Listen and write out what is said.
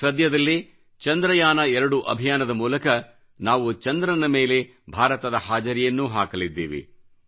ಸಧ್ಯದಲ್ಲೇ ಚಂದ್ರಯಾನ2ಅಭಿಯಾನದ ಮೂಲಕ ನಾವು ಚಂದ್ರನ ಮೇಲೆ ಭಾರತದ ಹಾಜರಿಯನ್ನೂ ಹಾಕಲಿದ್ದೇವೆ